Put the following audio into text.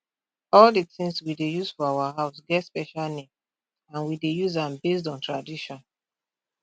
all di tins we dey use for our house get special name and we dey use am based on tradition